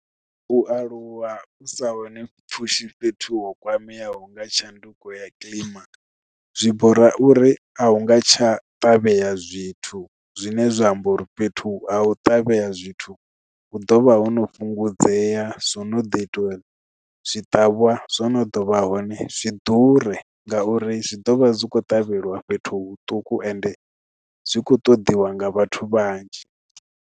U aluwa u sa hone pfhushi fhethu ho kwameaho nga tshanduko ya kilima zwi bora uri a hu nga tsha ṱavhea zwithu zwine zwa amba uri fhethu ha u ṱavhea zwithu hu ḓovha ho no fhungudzea zwo no ḓi itiwa zwi ṱavhwa zwono dovha hone zwi ḓure ngauri zwi ḓovha zwi kho tevheliwa fhethu huṱuku ende zwi kho ṱoḓiwa nga vhathu vhanzhi.